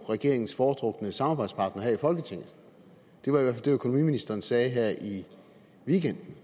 regeringens foretrukne samarbejdspartner her i folketinget det var i hvert økonomiministeren sagde her i weekenden